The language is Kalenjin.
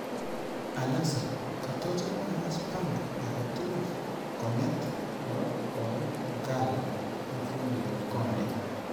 Alexa katachame akass bango aketugul konget nebo boiyot Ngala ak fundiyot Konde